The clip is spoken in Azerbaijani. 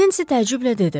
Nensi təəccüblə dedi.